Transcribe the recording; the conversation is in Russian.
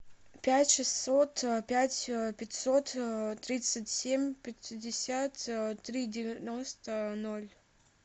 пять шестьсот пять пятьсот тридцать семь пятьдесят три девяносто ноль